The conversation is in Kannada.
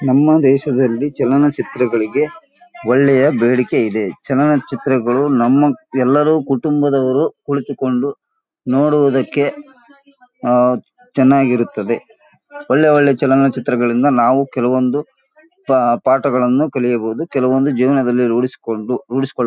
ನಮ್ಮ ದೇಶದಲ್ಲಿ ಚಲನಚಿತ್ರಗಳಿಗೆ ಒಳ್ಳೆಯ ಬೇಡಿಕೆ ಇದೆ ಚಲನಚಿತ್ರಗಳು ನಮ್ಮ ಎಲ್ಲರೂ ಕುಟುಂಬದವರೂ ಕುಳಿತುಕೊಂಡು ನೋಡುವುದಕ್ಕೆ ಆಂ ಚೆನ್ನಾಗಿರುತ್ತದೆ. ಒಳ್ಳೆ ಒಳ್ಳೆಯ ಚಲನಚಿತ್ರಗಳಿಂದ ನಾವು ಕೆಲವೊಂದು ಪಾ ಪಾಠಗಳನ್ನು ಕಲಿಯಬಹುದು ಕೆಲವಂದು ಜಿವನದಲ್ಲಿ ರುಡಿ ರುಡಿಸಕೊಳ್ಳ